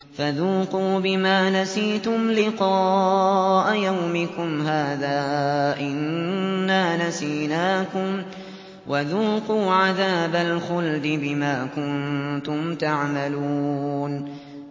فَذُوقُوا بِمَا نَسِيتُمْ لِقَاءَ يَوْمِكُمْ هَٰذَا إِنَّا نَسِينَاكُمْ ۖ وَذُوقُوا عَذَابَ الْخُلْدِ بِمَا كُنتُمْ تَعْمَلُونَ